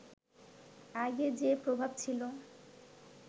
আগে যে প্রভাব ছিল